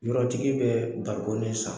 Yɔrɔtigi bɛ barikon de san.